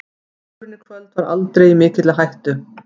Sigurinn í kvöld var aldrei í mikilli hættu.